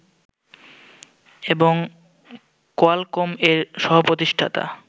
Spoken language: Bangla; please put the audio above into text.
এবং কোয়ালকম এর সহপ্রতিষ্ঠাতা